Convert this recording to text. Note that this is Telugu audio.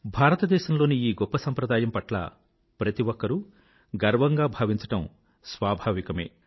భారతదేశంలోని ఈ గొప్ప సాంప్రదాయం పట్ల ప్రతి ఒక్కరూ గర్వంగా భావించడం స్వాభావికమే